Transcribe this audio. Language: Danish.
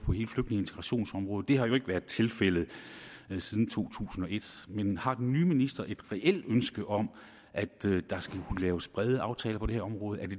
integrationsområdet det har jo ikke været tilfældet siden to tusind og et men har den nye minister et reelt ønske om at der skal kunne laves brede aftaler på det her område